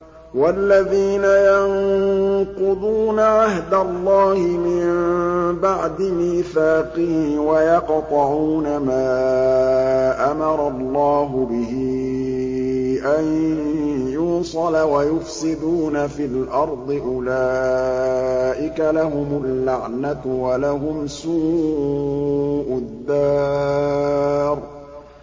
وَالَّذِينَ يَنقُضُونَ عَهْدَ اللَّهِ مِن بَعْدِ مِيثَاقِهِ وَيَقْطَعُونَ مَا أَمَرَ اللَّهُ بِهِ أَن يُوصَلَ وَيُفْسِدُونَ فِي الْأَرْضِ ۙ أُولَٰئِكَ لَهُمُ اللَّعْنَةُ وَلَهُمْ سُوءُ الدَّارِ